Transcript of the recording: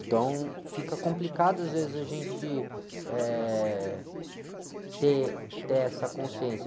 Então, fica complicado às vezes a gente, eh, ter, ter essa consciência.